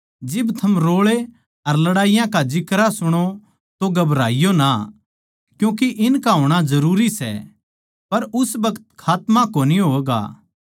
जिब थम रोळे अर लड़ाईया का जिक्रा सुणो तो घबराईयो ना क्यूँके इनका होणा जरूरी सै पर उस बखत खात्मा कोनी होवैगा